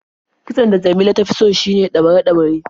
Kitson da Jamila ta fi so shine ɗaure-ɗaure.